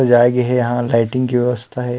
सजाय जाही यहाँ लाइटिंग के व्यवस्था हे।